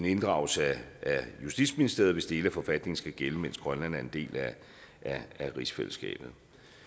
inddragelse af justitsministeriet hvis dele af forfatningen skal gælde mens grønland er en del af rigsfællesskabet